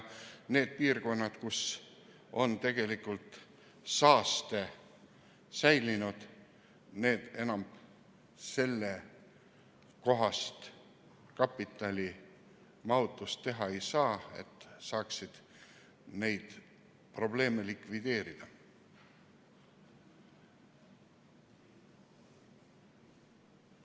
Need piirkonnad, kus on tegelikult saaste säilinud, enam sellekohast kapitalimahutust teha ei saa, et saaksid neid probleeme likvideerida.